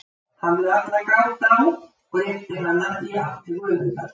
Hafðu alla gát á, og rétti hana í átt til Guðmundar.